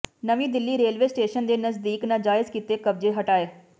ਨਵੀਂ Delhi railway station ਦੇ ਨਜ਼ਦੀਕ ਨਾਜਾਇਜ਼ ਕੀਤੇ ਕਬਜ਼ੇ ਹਟਾਏ